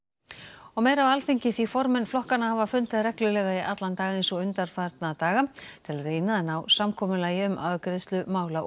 og meira af Alþingi því formenn flokkanna hafa fundað í dag eins og undanfarna daga til að reyna að ná samkomulagi um afgreiðslu mála og